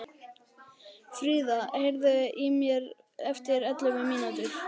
Frida, heyrðu í mér eftir ellefu mínútur.